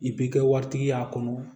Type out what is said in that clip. I bi kɛ waritigi y'a kɔnɔ